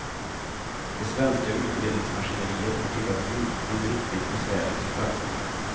Det svenska utredningsmaskineriet har tittat djupt i en riktigt besvärlig kristallkula.